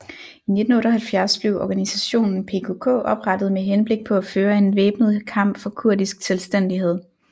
I 1978 blev organisationen PKK oprettet med henblik på at føre en væbnet kamp for kurdisk selvstændighed